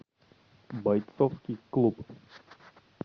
бойцовский клуб